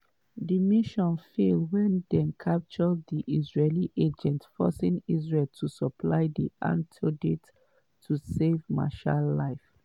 di mission fail wen dem capture di israeli agents forcing israel to supply di antidote to save meshaal life.